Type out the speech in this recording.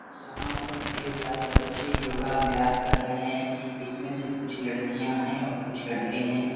यहाँ पर ढ़ेर सारे बच्चे योगा अभ्यास कर रहे हैं। इसमें से कुछ लड़िकयाँ हैं और कुछ लड़के हैं।